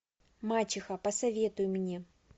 мачеха посоветуй мне